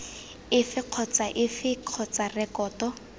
efe kgotsa efe kgotsa rekoto